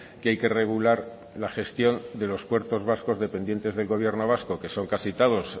que hay que regular la gestión de los puertos vascos dependientes del gobierno vasco que son casi todos